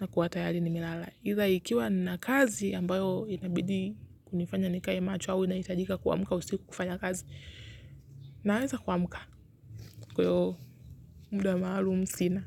Na kuwa tayari nimelala. Ila ikiwa nina kazi ambayo inabidi kunifanya nikae macho au, inahitajika kuamka, usiku kufanya kazi. Naweza kuamuka kwa hiyo muda maalum sina.